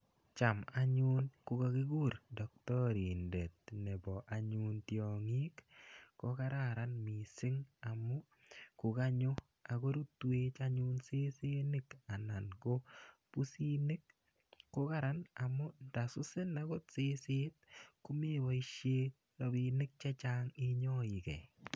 Cham anyun ko kakikur daktarindet nepo anyun tiang'ik ko kararan missing' amu ko kanyo ak korutwech anyun sesenik anan ko pusinik. Ko karan amu ndasusin akot seset ko mepoishe rapinik che chang' inyaigei.